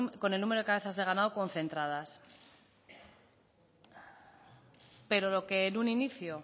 con el número de cabezas de ganado concentradas pero lo que en un inicio